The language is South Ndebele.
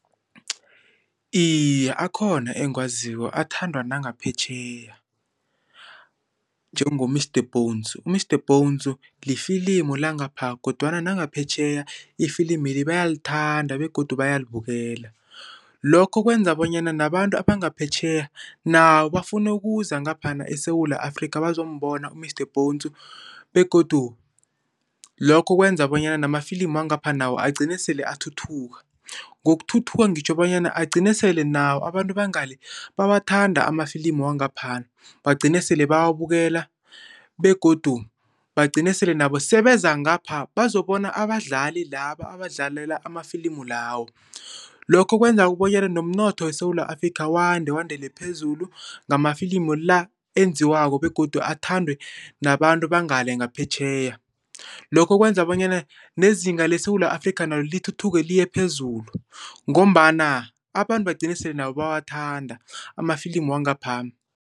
Iye, akhona engiwaziko athandwa nangaphetjheya, njengo-Mr Bones. U-Mr Bones lifilimu langapha kodwana nangaphetjheya ifilimeli bayalithanda begodu bayalibukela. Lokho kwenza bonyana nabantu abangaphetjheya nabo bafune ukuza ngaphana eSewula Afrika bazokubona u-Mr Bones begodu lokho kwenza bonyana namafilimu wangapha nawo agcine sele athuthuka. Ngokuthuthuka ngitjho bonyana agcine sele nawo abantu bangale bawathanda amafilimu wangapha. Bagcine sele bawabukela begodu bagcine sele nabo sebeza ngapha bazokubona abadlali laba abadlalela amafilimu lawo. Lokho kwenza bonyana nomnotho weSewula Afrika wande, wandele phezulu ngamafilimu la enziwako begodu athandwe nababantu bangale ngaphetjheya. Lokho kwenza bonyana nezinga leSewula Afrika nalo lithuthuke liye phezulu ngombana abantu bagcine sele nabo bawathanda amafilimu wangapha.